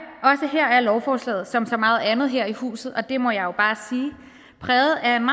er lovforslaget som så meget andet her i huset og det må jeg jo bare sige præget af en